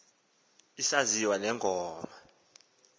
isaziwa le ngoma